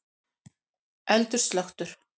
Eldur slökktur